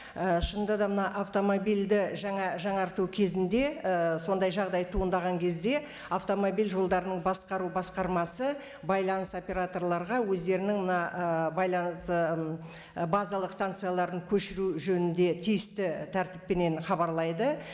і шынында да мына автомобильді жаңарту кезінде ііі сондай жағдай туындаған кезде автомобиль жолдарының басқару басқармасы байланыс операторларға өздерінің мына ііі байланыс ііі базалық станцияларын көшіру жөнінде тиісті тәртіппенен хабарлайды